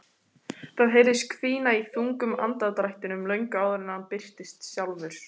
Það heyrðist hvína í þungum andardrættinum löngu áður en hann birtist sjálfur.